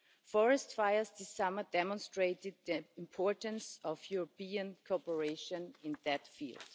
Forest fires this summer demonstrated the importance of European cooperation in that field.